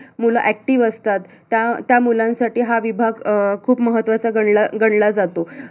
मूल active असतात त्या त्या मुलांसाठी हा विभाग अं हा विभाग खूप महत्त्वाचा गणला गणला जातो.